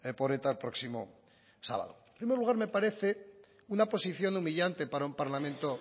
por eta el próximo sábado en primer lugar me parece una posición humillante para un parlamento